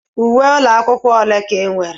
Uwe ụlọ akwụkwọ ole ka ị nwere?